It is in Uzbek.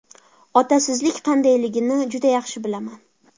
Otasizlik qandayligini juda yaxshi bilaman.